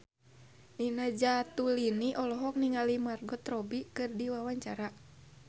Nina Zatulini olohok ningali Margot Robbie keur diwawancara